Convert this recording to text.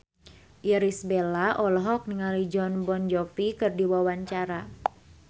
Irish Bella olohok ningali Jon Bon Jovi keur diwawancara